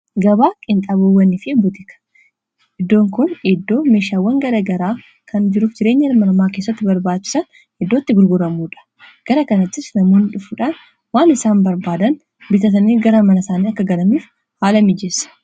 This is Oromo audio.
Gabaa qiinxabowwaniifi butiika iddoon kun iddoo meeshaawwan gara garaa kan jiruuf jireenya ilma nama keessatti barbaachisa iddootti gurguramuudha gara kanati namuu dhufuudhaan waan isaan barbaadan bitatanii gara mana saanii akka galamiif haala mijeessa.